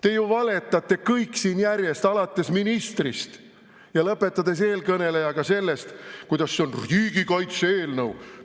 Te ju valetate kõik siin järjest, alates ministrist ja lõpetades eelkõnelejaga, rääkides sellest, kuidas see on riigikaitse eelnõu.